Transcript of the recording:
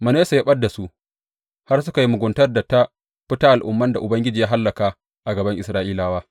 Manasse ya ɓad da su, har suka yi muguntar da ta fi ta al’umman da Ubangiji ya hallaka a gaban Isra’ilawa.